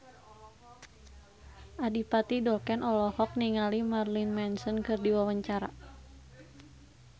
Adipati Dolken olohok ningali Marilyn Manson keur diwawancara